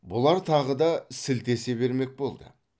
бұлар тағы да сілтесе бермек болды